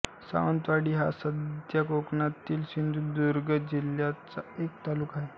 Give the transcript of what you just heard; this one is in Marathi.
सावंतवाडी हा सध्या कोकणातील सिंधुदुर्ग जिल्ह्याचा एक तालुका आहे